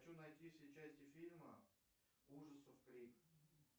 хочу найти все части фильма ужасов крик